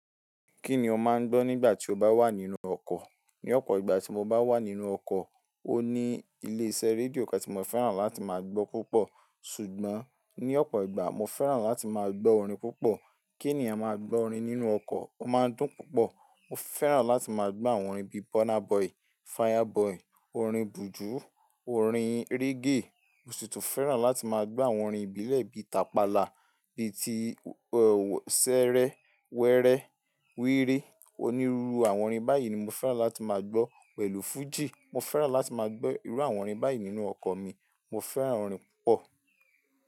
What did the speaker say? Kí ni o máa ń gbọ́ nígbà tí o bá wà nínú ọkọ̀? Ní ọ̀pọ̀ ìgbà tí mo bá wà nínú ọkọ̀, ó ní ilé iṣẹ́ rédíò kan tí mo fẹ́ràn láti máa gbọ́ púpọ̀. Ṣùgbọ́n ní ọ̀pọ̀ ìgbà, mo fẹ́ràn láti máa gbọ́ orin púpọ̀. Kí ènìyàn máa gbọ́ orin nínú ọkọ̀, ó máa ń dùn púpọ̀. Mo fẹ́ràn láti máa gbọ́ àwọn orin bíi Burna Boy, Fireboy, orin Bùju, orin reggae. Mo sì tún fẹ́ràn láti máa gbọ́ àwọn orin ìbílẹ̀ bíi tapala, bíi ti, ẹ́, Sẹ́ẹ́rẹ́, Wẹrẹ, Wírí. Onírúurú àwọn orin báyìí ni mo fẹ́ràn láti máa gbọ́ pẹ̀lú fújì. Mo fẹ́ràn láti máa gbọ́ irú àwọn orin báyìí nínú ọkọ̀ mi. Mo fẹ́ràn orin púpọ̀.